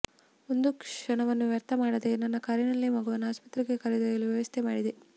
ಒಂದು ಕ್ಷಣವನ್ನೂ ವ್ಯರ್ಥ ಮಾಡದೆ ನನ್ನ ಕಾರಿನಲ್ಲೇ ಮಗುವನ್ನು ಆಸ್ಪತ್ರೆಗೆ ಕರೆದೊಯ್ಯಲು ವ್ಯವಸ್ಥೆ ಮಾಡಿದೆ